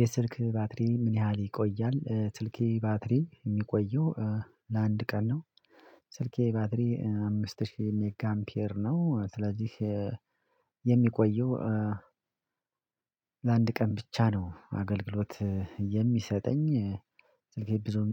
የስልክ ባትሪ ምን ያህል ይቆያል? ስልኬ ባትሪ የሚቆየው ለአንድ ቀን ነው ስልኬ ባትሪ አምስት ሺህ ሜጋ አምፒር ነው ስለዚህ የሚቆየው ለአንድ ቀን ብቻ ነው አገልግሎት የሚሰጠኝ ስልኬ ብዙም